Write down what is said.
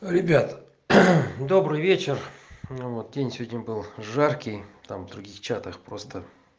ребят добрый вечер ну вот день сегодня был жаркий там в других чатах просто